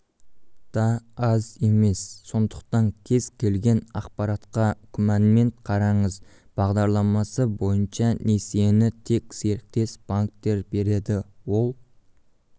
да аз емес сондықтан кез-келген ақпаратқа күмәнмен қараңыз бағдарламасы бойынша несиені тек серіктес-банктер береді ол